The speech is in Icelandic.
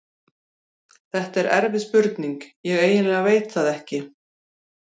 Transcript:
Þetta er erfið spurning, ég eiginlega veit það ekki.